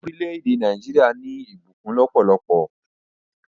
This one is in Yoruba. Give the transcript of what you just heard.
Orílẹ̀-èdè Naijiria ni ìbùkún lópólopó